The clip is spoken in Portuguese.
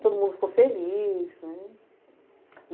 Todo mundo ficou feliz, né.